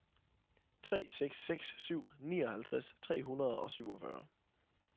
tre seks seks syv nioghalvtreds tre hundrede og syvogfyrre